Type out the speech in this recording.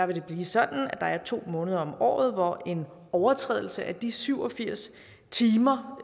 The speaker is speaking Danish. vil blive sådan at der er to måneder om året hvor en overtrædelse af de syv og firs timer